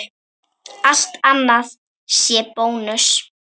Allt annað sé bónus?